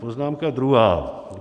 Poznámka druhá.